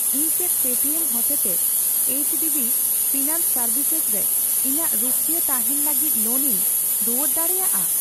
ᱤᱧ ᱪᱮᱫ ᱯᱮᱴᱤᱮᱢ ᱦᱚᱛᱮᱛᱮ ᱮᱭᱤᱪᱰᱤᱵᱤ ᱯᱷᱤᱱᱟᱱᱥ ᱥᱮᱨᱵᱷᱤᱥᱮᱥ ᱨᱮ ᱤᱧᱟᱜ ᱨᱩᱠᱷᱣᱟᱹ ᱛᱟᱦᱮᱸᱱ ᱞᱟᱹᱜᱤᱛ ᱞᱳᱱ ᱤᱧ ᱨᱩᱣᱟᱹᱲ ᱫᱟᱲᱮᱭᱟᱜᱼᱟ ?